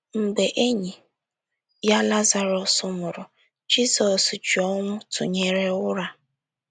Mgbe enyi ya Lazarọs nwụrụ, Jizọs ji ọnwụ tụnyere ụra.